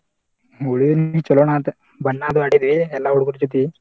ಹೋಳಿ ಹುಣ್ಣಿವಿ ಚೊಲೋನ ಆತ ಬಣ್ಣಾದು ಆಡಿದು ಎಲ್ಲಾ ಹುಡಗೋರ ಜೊತಿ.